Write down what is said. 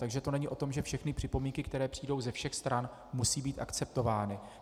Takže to není o tom, že všechny připomínky, které přijdou ze všech stran, musí být akceptovány.